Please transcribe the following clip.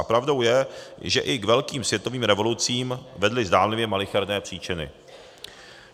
A pravdou je, že i k velkým světovým revolucím vedly zdánlivě malicherné příčiny.